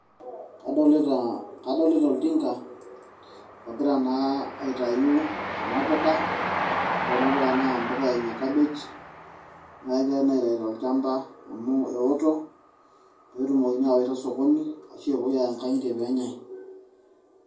adolitaa, adolita oltinka, ogira naa aitayu kuna puka, ore kuna puka naa ine kabej, na kegirae naa aitayu tolchampa amu eoto, pee etumokini aawaita sokoni ashu eyay inkang'itie peenyae.